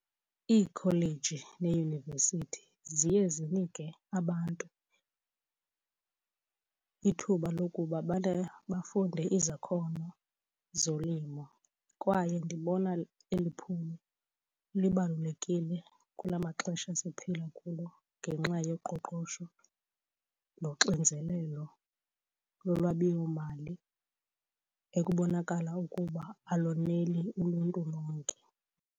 Iikholeji neeyunivesithi ziye zinike abantu ithuba lokuba bafunde izakhono zolimo. Kwaye ndibona eli phulo libalulekile kula maxesha siphila kulo ngenxa yoqoqosho noxinzelelo lolwabiwomali ekubonakala ukuba aloneli uluntu lonke.